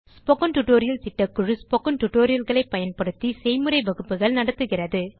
spoken tutorial திட்டக்குழு spoken tutorial களை பயன்படுத்தி செய்முறை வகுப்புகள் நடத்துகிறது